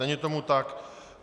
Není tomu tak.